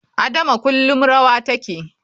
Adama kullum rawa take.